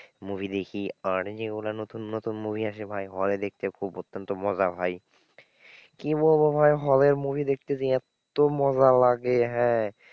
Movie দেখি, আর যেগুলো নতুন নতুন movie আসে ভাই hall দেখতে খুব অত্যন্ত মজা ভাই কি বলবো ভাই hall এ movie দেখতে যে এত্ত মজা লাগে হ্যাঁ,